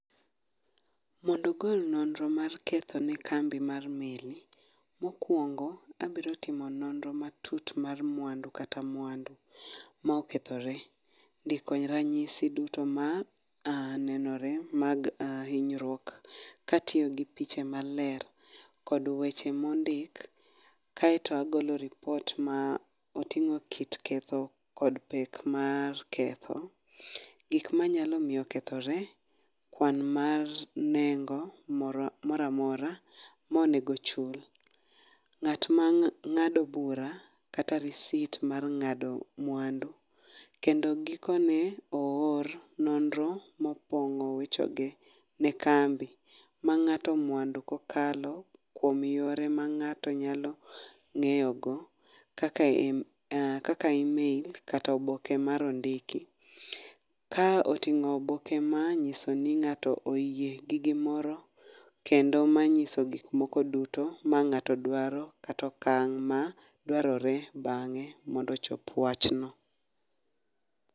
Mondo ogol nonro mar ketho ne kambi mar meli mokuongo abiro timo nonro matut mar mwandu kata mwandu ma okethore , dhi kony ranyisi duto manenore mag hinyruok katiyo gi picha maler kod weche mondik kaeto agolo lipot ma oting'o kit ketho kod pek mar ketho, gik manyalo miyo kethore, kwan mar nengo moro amora, monego ochul. Ng'at ma ng'ado bura kata risit mar ng'ado mwandu kendo gikone oor nonro mokuongo wechegi ni kambi ma ng'ato mwandu kokalo kuom yore ma ng'ato nyalo ng'eyo go kaka email kata oboke ma nondiki. Ka oting'o oboke manyiso ni ng'ato oyie gi gimoro kendo manyiso gik moko duto ma ng'ato duaro kata okang' ma dwarore bang'e mondo ochop wach no.